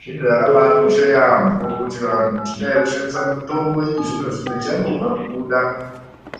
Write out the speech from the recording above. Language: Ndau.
Zvinhu zvakabakosha yaambo kuti vantu tishandise mitombo yechizvino-zvino ichangobva kubuda.